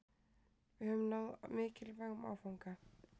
Við höfum náð mikilvægum áfanga